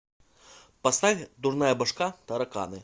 поставь дурная башка тараканы